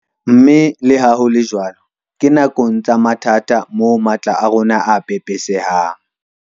Mme leha ho le jwalo ke nakong tsa mathata moo matla a rona a pepesehang.